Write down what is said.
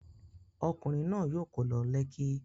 Ọkùnrin náà yóò kó lọ Lekki.